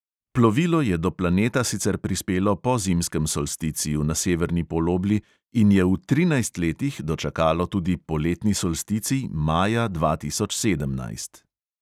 Plovilo je do planeta sicer prispelo po zimskem solsticiju na severni polobli in je v trinajst letih dočakalo tudi poletni solsticij maja dva tisoč sedemnajst.